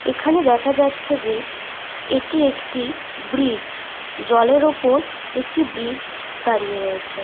দূর দূরে দেখা যাচ্ছে অনেক গাছপালা এবং একটি ঘাট।